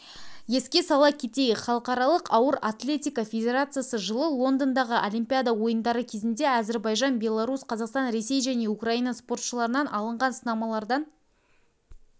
еске сала кетейік халықаралық ауыр атлетика федерациясы жылы лондондағы олимпиада ойындары кезінде әзербайжан беларусь қазақстан ресей және украина спортшыларынан алынған сынамалардан